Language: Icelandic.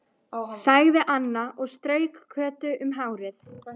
sagði Anna og strauk Kötu um hárið.